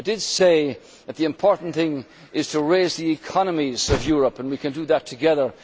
I did say that the important thing is to raise the economies of Europe, and we can do that together.